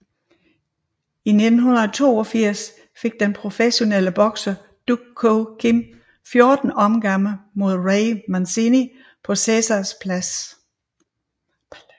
I 1982 gik den professionelle bokser Duk Koo Kim 14 omgange mod Ray Mancini på Caesars Palace